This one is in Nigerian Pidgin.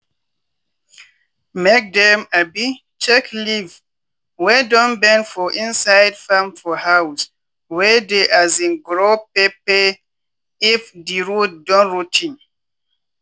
mke dem um check leave wey don bend for inside farm for house wey dey um grow pepper if di root don rot ten.